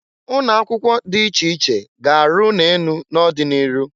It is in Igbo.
Ụnọ akwụkwọ dị iche iche ga-arụ ụnọ enụ n'ọdị n'iru.